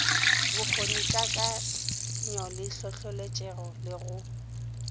bokgonikakanyo le hlohloletšego le go